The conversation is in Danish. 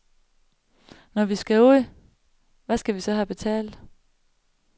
Når vi skal ud, hvad skal vi så have betalt.